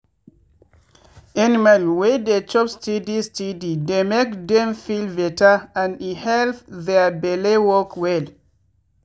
animal wey dey chop steady steady dey make dem feel better and e help their belle work well.